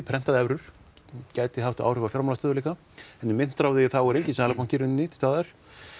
prentað evrur gæti haft áhrif á fjármálastöðugleika en í myntráði þá er enginn Seðlabanki í rauninni til staðar